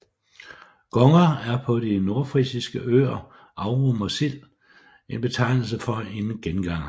Gonger er på de nordfrisiske øer Amrum og Sild en betegnelse for en genganger